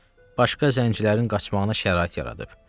Başqa zəncilərin qaçmağına şərait yaradıb.